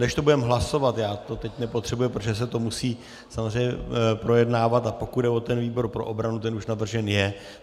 Než to budeme hlasovat - já to teď nepotřebuji, protože se to musí samozřejmě projednávat, a pokud jde o ten výbor pro obranu, ten už navržen je.